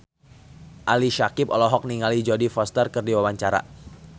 Ali Syakieb olohok ningali Jodie Foster keur diwawancara